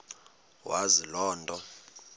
wazi loo nto